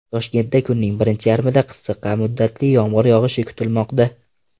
Toshkentda kunning birinchi yarmida qisqa muddatli yomg‘ir yog‘ishi kutilmoqda.